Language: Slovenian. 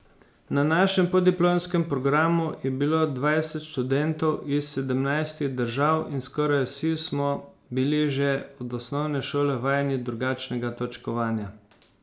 Na našem podiplomskem programu je bilo dvajset študentov iz sedemnajstih držav in skoraj vsi smo bili že od osnovne šole vajeni drugačnega točkovanja.